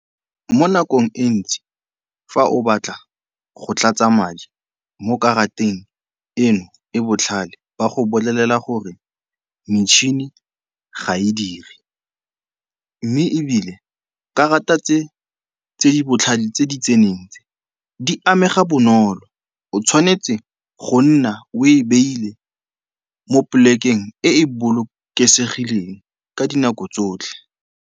Mo nakong e ntsi fa o batla go tlatsa madi mo karateng eno, e botlhale. Ba go bolelela gore metšhini ga e dire mme ebile karata tse tse di botlhale tse di tseneng tse, di amega bonolo. O tshwanetse go nna o e beile mo polekeng e e bolokesegileng ka dinako tsotlhe.